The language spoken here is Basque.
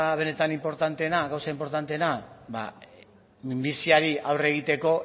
benetan inportanteena gauza inportanteena ba minbiziari aurre egiteko